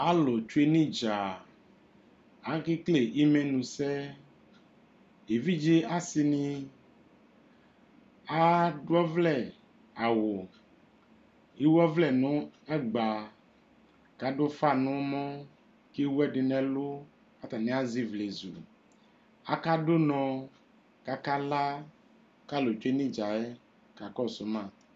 Alʋ tsue nʋ idza Akekele imɛnusɛ Evidze asi ni adʋ ɔvlɛ awʋ, ewu ɔvlɛ nʋ ɛgba kʋ adʋ ʋfa n'ɛmɔ, kewu ɛdi nʋ ɛlʋ Atani azɛ ivlezu Akadʋ ʋnɔ kʋ akala, kʋ alʋ tsue nʋ idza yɛ kakɔsʋ ma